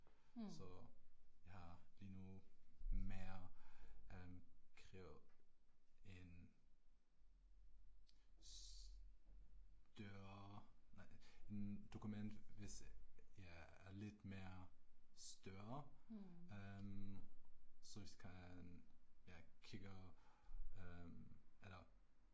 Så, jeg har lige nu mere øh kræver en større nej dokument hvis ja er lidt mere større øh så ich kan ja kigge øh eller